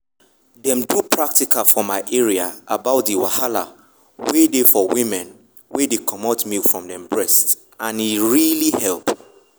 them do practical for my area about the wahala wen dey for um women wen um dey comot milk from breast and e really help.